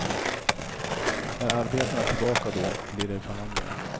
Är arbetarna tillbaka då, blir det förhandlingar.